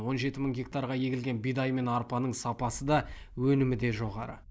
он жеті мың гектарға егілген бидай мен арпаның сапасы да өнімі де жоғары